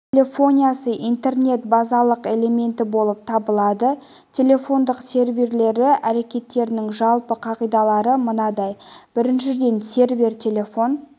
телефониясы интернет базалық элементі болып табылады телефондық серверлері әрекеттерінің жалпы қағидалары мынадай біріншіден сервер телефон